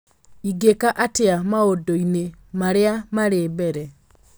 ingĩka atĩa maũndũ-inĩ marĩa marĩ mbere